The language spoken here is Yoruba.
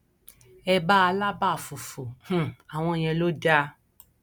ẹbá alábà fùfù um àwọn ìyẹn ló dáa